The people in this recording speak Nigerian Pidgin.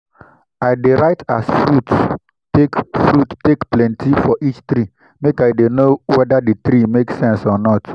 i dey write as fruit take fruit take plenty for each tree make i dey know wede di tree make sense or not.